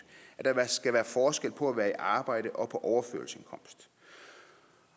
at der skal være forskel på at være i arbejde og på overførselsindkomst